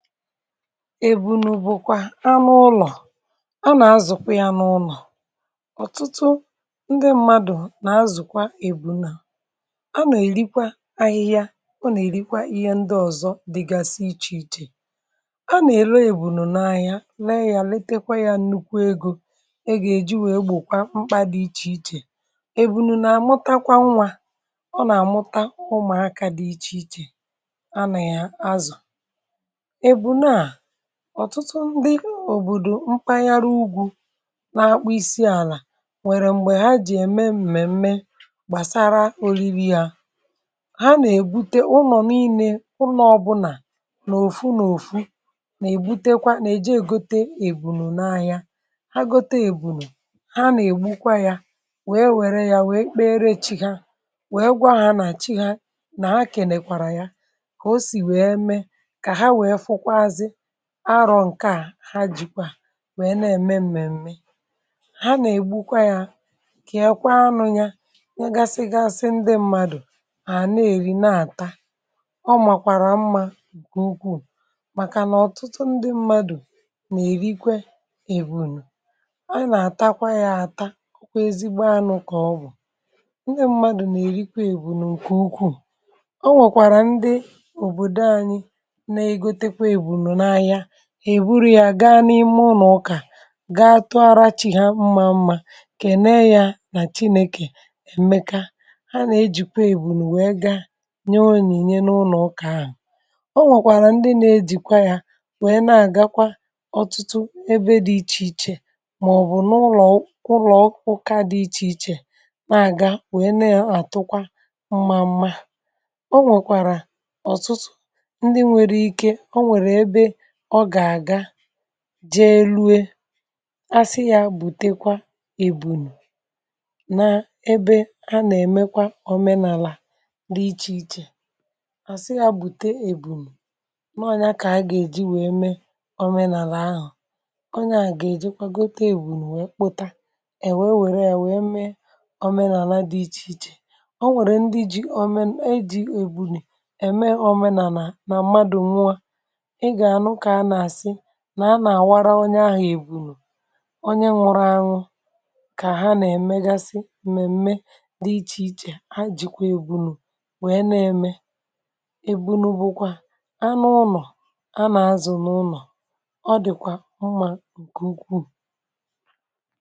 Ebùnù bụ̀kwa anụ̇ ụlọ̀ a na-azụ̀ n’ụlọ̀. Ọ̀tụtụ ndị mmadụ̀ na-azụ̀kwa ebùnù. Ebùnù a nà-èri ahịhịa, ọ̀ nà-èrikwa ihe ndị ọzọ dị iche iche. A nà-elekọta ebùnù, a na-azụ ahịa ya, a na-èleta ya, a na-elekwasịkwa ya anya. Ọ nà-eweta nnukwu ègò e ji wee gbòkwa mkpa dị iche iche. Ebùnù na-amụtakwa nwa, ọ nà-amụtakwa ụmụ̀aka dị iche iche. Mgbe a na-azụ ya, ọ na-eme ka e nwee uru n’ụlọ... Ọ̀tụtụ ndị òbòdò Mkpànnyàrà Ugwu n’Akpụ Isi Àlà nwere ebùnù ha. Mgbe ha na-eme mmemme gbàsara olili, ha na-ebute ebùnù n’ụlọ̀ niile. Ụnọ̀ ọ̀bụla na-ebute ebùnù, ha na-eje gote ebùnù n’ahịa. Mgbe ha gòtèrè ebùnù, ha na-egbukwa ya, wèe wèrè ya kpee ere chīhà. Ha na-ekwàghachi n’ebe chi̇ hā, na-ekèkwàrà yà, ka o sì wèe mee àrọ̀ nke a. N’ihi nke a, ebùnù bụ akụkụ nke omenàlà ha....Pause0 Ndị mmadụ̀ na-eri anụ̇ ebùnù, ha nà-ata ya, ha nà-echekwa ya dị ka ezigbo anụ̇. Ọ bụ anụ̇ dị mma, ọ na-eme ka mmadụ dịrị ike. Ọ̀tụtụ um ndị mmadụ̀ nà-èrikwe ebùnù. um Ebùnù bụ̀kwa anụ̇ nke ụka ji eme mmemme. Mgbe e mesịrị, ha na-eweta ebùnù n’ụlọ ụka, gà-èjikwa ya tụàrịrị Chineke mmà.... Ha nà-ejikwa ya nye onyinye n’ụlọ ụka, dị iche iche. Ọ nwèrèkwa ndị ji ebùnù gà-elù asị yà, bụte ya n’ebe a na-eme omenàlà dị iche iche. Ha na-eweta ebùnù n’ọnyà, wèrè ya mee omenàlà. A na-agakwa ahịa gote ebùnù, kpọta ya, wèrè ya mee omenàlà dị iche iche. Ndị ji omenà, em e ji ebùnù eme omenàlà, nà-eji ya mee ọtụtụ ihe. Mgbe mmadụ nwụrụ anwụ, a na-agwa onye ahụ̀ “Ebùnù onye nwụrụ anwụ,” n’ihi na ọ bụ́ ihe dị mkpa na mmemme olili na ọdịnala. Ebùnù bụ̀kwa anụ̇ ụnọ̀ a na-azụ̀ n’ụlọ̀. Ọ dị̀kwa mmā um nke ukwuu.